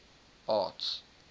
arts